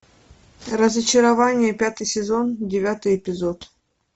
разочарование пятый сезон девятый эпизод